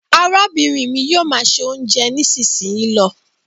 arábìnrin mí yóò má ṣe oúnjẹ nisinyi ló.